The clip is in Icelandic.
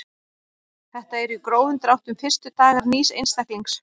Þetta eru í grófum dráttum fyrstu dagar nýs einstaklings.